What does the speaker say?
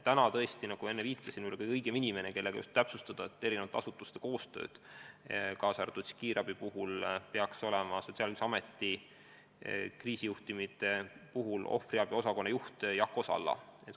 Nagu ma enne viitasin, praegu on kõige õigem inimene, kellega täpsustada erinevate asutuste koostööd, kaasa arvatud siis kiirabi, Sotsiaalkindlustusameti kriisijuhtumite puhul ohvriabi osakonna juht Jako Salla.